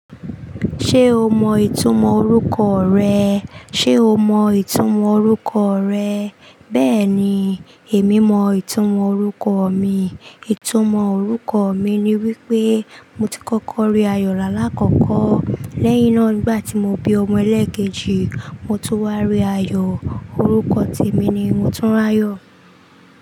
Ṣé o mọ ìtumọ̀ orúkọ rẹ? Ṣé o mọ ìtumọ̀ orúkọ rẹ? Bẹ́ẹ̀ ni, èmi mọ ìtumọ̀ orúkọ mi. Ìtumọ̀ orúkọ mi ni wípé mo ti kọ́kọ́ rí ayọ̀ rà l'alakọ̀kọ̀. Lẹ́yìn náà nígbà tí mo bí ọmọ ẹlẹ́kẹ̀éji, mo tó wá rí ayọ̀. Orúkọ ti mi ni Motunrayo.